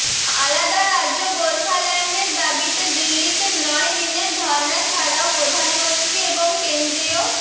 আলাদা রাজ্য গোর্খাল্যান্ডের দাবিতে দিল্লিতে নয় দিনের ধর্না ছাড়াও প্রধানমন্ত্রী এবং কেন্দ্রীয়